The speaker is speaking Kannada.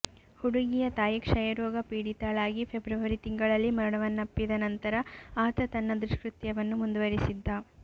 ಹುಡುಗಿಯ ತಾಯಿ ಕ್ಷಯರೋಗ ಪೀಡಿತಳಾಗಿ ಫೆಬ್ರವರಿ ತಿಂಗಳಲ್ಲಿ ಮರಣವನ್ನಪ್ಪಿದ ನಂತರ ಆತ ತನ್ನ ದುಷ್ಕೃತ್ಯವನ್ನು ಮುಂದುವರೆಸಿದ್ದ